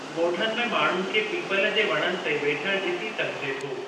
ॻोठनि में माण्हुनि खे पीपल जे वणनि ते वेठल ॾिसी सघिजे थो।